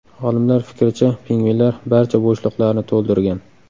Olimlar fikricha, pingvinlar barcha bo‘shliqlarni to‘ldirgan.